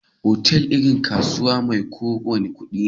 Otal irin kasuwa mai kawo kudi ne.